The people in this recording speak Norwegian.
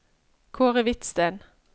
Kaare Hvidsten